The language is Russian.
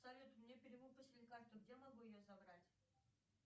салют мне перевыпустили карту где могу ее забрать